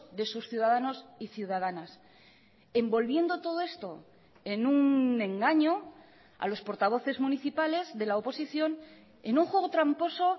de sus ciudadanos y ciudadanas envolviendo todo esto en un engaño a los portavoces municipales de la oposición en un juego tramposo